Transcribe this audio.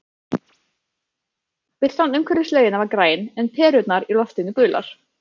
Birtan umhverfis laugina var græn, en perurnar í loftinu gular.